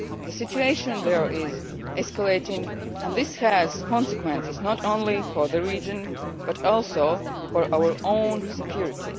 Council. The situation there is escalating and this has consequences not only for the region, but also for our own security.